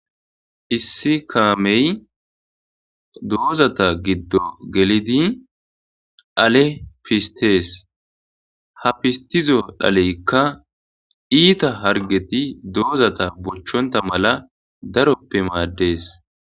issi kaamey doozata giddo gelidi ale pistees ha pistizo dhaleykka iita hargeti doozata bochonta mala daroppe maaddees